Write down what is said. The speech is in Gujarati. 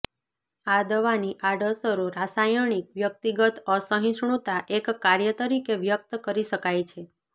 આ દવાની આડઅસરો રાસાયણિક વ્યક્તિગત અસહિષ્ણુતા એક કાર્ય તરીકે વ્યક્ત કરી શકાય છે